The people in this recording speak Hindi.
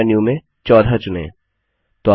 ड्रॉप डाउन मेन्यू में 14 चुनें